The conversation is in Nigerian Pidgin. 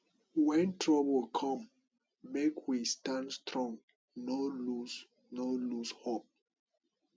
wen trouble come make we stand strong no lose no lose hope